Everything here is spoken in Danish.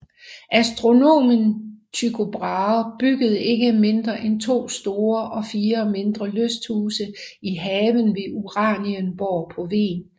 Astronomen Tycho Brahe byggede ikke mindre end to store og fire mindre lysthuse i haven ved Uranienborg på Hven